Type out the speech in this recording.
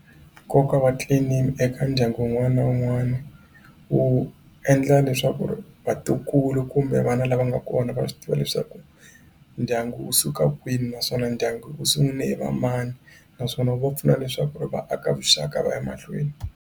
Nkoka wa clan name eka ndyangu wun'wana na wun'wana wu endla leswaku ri vatukulu kumbe vana lava nga kona va swi tiva leswaku ndyangu wu suka kwini naswona ndyangu wu sungule hi va mani naswona wu va pfuna leswaku ri va aka vuxaka va ya mahlweni.